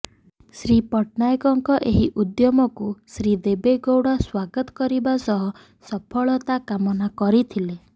ଶ୍ରୀ ପଟ୍ଟନାୟକଙ୍କ ଏହି ଉଦ୍ୟମକୁ ଶ୍ରୀ ଦେବେଗୌଡ଼ା ସ୍ବାଗତ କରିବା ସହ ସଫଳତା କାମନା କରିଥିଲେ